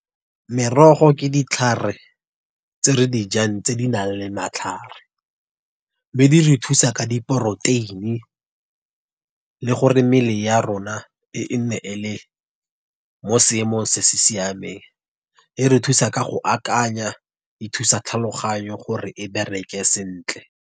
Merogo ke ditlhare tse re dijang tse di nang le matlhare, be dire thusa ka di poroteini. Le gore mmele ya rona e nne e le mo seemong se se siameng. E re thusa ka go akanya, e thusa tlhaloganyo, gore e bereke sentle.